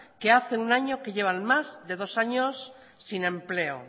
que hace un año que llevan más de dos años sin empleo